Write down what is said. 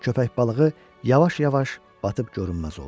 Köppək balığı yavaş-yavaş batıb görünməz oldu.